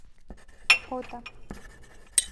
ота